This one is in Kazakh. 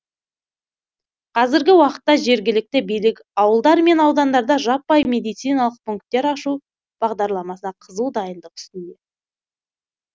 қазіргі уақытта жергілікті билік ауылдар мен аудандарда жаппай медциналық пунктер ашу бағдарламасына қызу дайындық үстінде